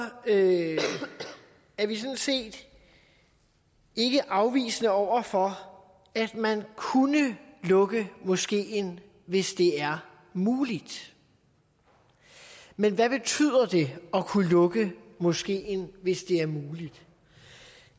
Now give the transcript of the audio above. er vi sådan set ikke afvisende over for at man kunne lukke moskeen hvis det er muligt men hvad betyder det at kunne lukke moskeen hvis det er muligt